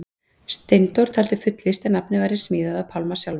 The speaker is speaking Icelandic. Steindór taldi fullvíst að nafnið væri smíðað af Pálma sjálfum.